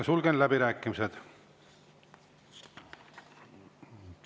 Sulgen läbirääkimised.